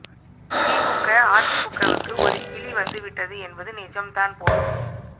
திமுக அதிமுகவுக்கு ஒரு கிலி வந்து விட்டது என்பது நிஜம் தான் போலும்